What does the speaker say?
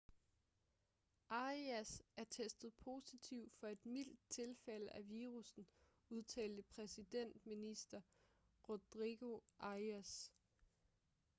arias er testet positiv for et mildt tilfælde af virussen udtalte præsidentminister rodrigo arias